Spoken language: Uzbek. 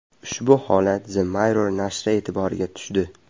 Ushbu holat The Mirror nashri e’tiboriga tushdi .